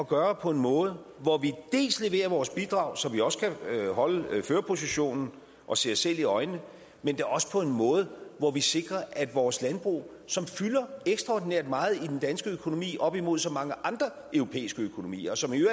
gøre på en måde hvor vi leverer vores bidrag så vi også kan holde førerpositionen og se os selv i øjnene men da også på en måde hvor vi sikrer at vores landbrug som fylder ekstraordinært meget i den danske økonomi holdt op imod så mange andre europæiske økonomier og som i